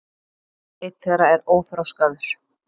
einn þeirra er óþroskaður